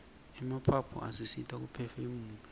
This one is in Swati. emaphaphu asisita kuphefumula